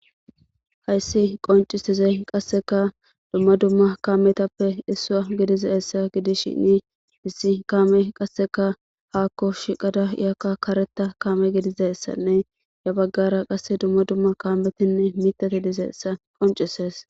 Hayssi qonciizey qasseka dumma dumma kaametappe issaa gediza essa gidishinni issi kaame qasseka haakko shiqada iyakka kareta kame gidizeyessanne ya baggara qasse dumma dumma kaametinne mitate dizeessa qoncises.